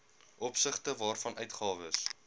opsigte waarvan uitgawes